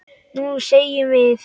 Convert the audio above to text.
Nú semjum við!